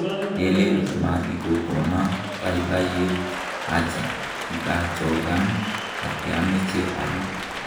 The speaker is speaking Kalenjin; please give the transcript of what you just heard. Melen kimatikokona babaiyet acha kikaachokan ak kiameche aru.